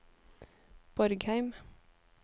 Borgheim